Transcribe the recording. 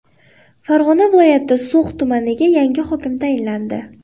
Farg‘ona viloyati So‘x tumaniga yangi hokim tayinlandi.